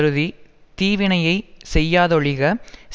தீவினையைச் செய்யாதொழிக செய்வானாயின் பின்பும்